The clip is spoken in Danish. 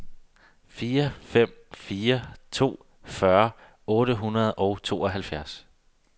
fire fem fire to fyrre otte hundrede og tooghalvfjerds